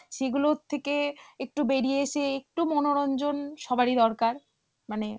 সেগুলোর থেকে একটু বেরিয়ে এসে, একটু মনোরঞ্জন সবারই দরকার মানে